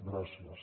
gràcies